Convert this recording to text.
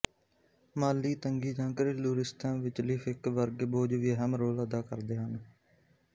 ਮਾਲੀ ਤੰਗੀ ਜਾਂ ਘਰੇਲੂ ਰਿਸ਼ਤਿਆਂ ਵਿਚਲੀ ਫਿੱਕ ਵਰਗੇ ਬੋਝ ਵੀ ਅਹਿਮ ਰੋਲ ਅਦਾ ਕਰਦੇ ਹਨ